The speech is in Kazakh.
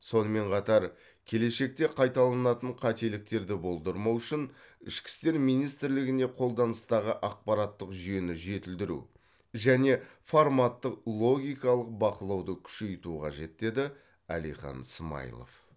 сонымен қатар келешекте қайталанатын қателіктерді болдырмау үшін ішкі істер министрлігіне қолданыстағы ақпараттық жүйені жетілдіру және форматтық логикалық бақылауды күшейту қажет деді әлихан смайылов